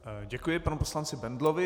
Děkuji panu poslanci Bendlovi.